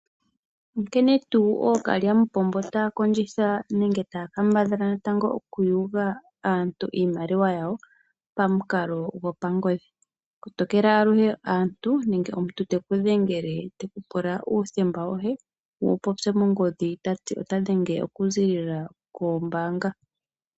Onkene tuu ookalyamupombo taa kondjitha, nenge taa kambadhala natango oku yuga aantu iimaliwa yawo, pamukalo gopangodhi. Kotokela aluhe aantu, nenge omuntu teku dhengele teku pula uuthemba woye, wu wu popye mongodhi, ta ti ota dhenge oku ziilila koombaabga.